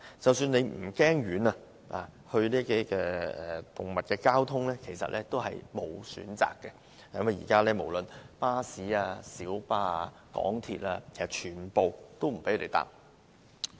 即使大家不怕遠，但帶着動物不可能乘搭公共交通，現時無論巴士、小巴、港鐵，全部都不准攜犬上車。